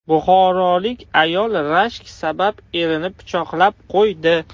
Buxorolik ayol rashk sabab erini pichoqlab qo‘ydi.